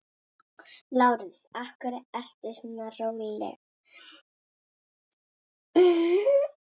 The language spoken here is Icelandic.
LÁRUS: Vertu nú róleg, vina.